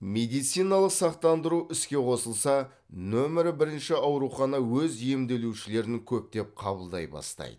медициналық сақтандыру іске қосылса нөмір бірінші аурухана өз емделушілерін көптеп қабылдай бастайды